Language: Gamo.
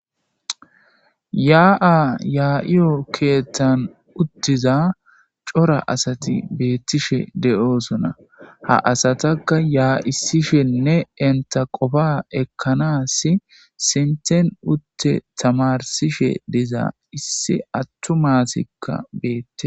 yaa7a yaa7iyo keethtan uttiza cora asati beettishe de7oosona ha asatakka yaa7issishenne enta qofa ekkanas sinten utte tamarsishe diza issi attu maasikka beette.